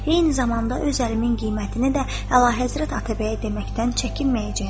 Eyni zamanda öz əlimin qiymətini də əlahəzrət Atabəyə deməkdən çəkinməyəcəyəm.